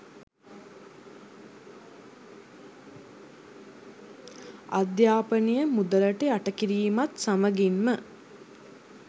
අධ්‍යාපනය මුදලට යට කිරීමත් සමගින්ම